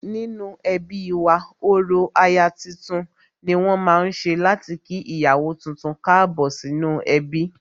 Nínú ẹbí wa, orò aya tuntun ni wón ma ń ṣe láti kí ìyàwó tuntun Káàbọ̀ sínú ẹbí